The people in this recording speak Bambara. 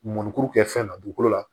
Mɔnikuru kɛ fɛn na dugukolo la